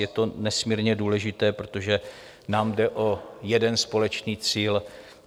Je to nesmírně důležité, protože nám jde o jeden společný cíl.